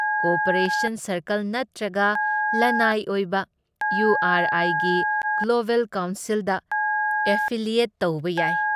Cooperation ꯁꯥꯔꯀꯜ ꯅꯠꯇ꯭ꯔꯒ ꯂꯟꯅꯥꯏ ꯑꯣꯏꯕ ꯏꯌꯨ ꯑꯥꯔ ꯑꯥꯏꯒꯤ ꯒ꯭ꯂꯣꯕꯦꯜ ꯀꯥꯎꯟꯁꯤꯜꯗ ꯑꯦꯐꯤꯂꯤꯌꯦꯠ ꯇꯧꯕ ꯌꯥꯏ ꯫